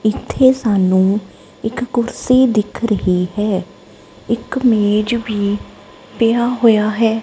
ਇਥੇ ਸਾਨੂੰ ਇੱਕ ਕੁਰਸੀ ਦਿਖ ਰਹੀ ਹੈ ਇਕ ਮੇਜ ਵੀ ਪਿਆ ਹੋਇਆ ਹੈ।